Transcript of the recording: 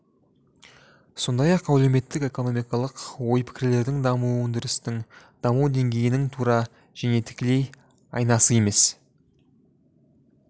сондай-ақ әлеуметтік-экономикалық ой-пікірлердің дамуы өндірістің даму деңгейінің тура және тікелей айнасы емес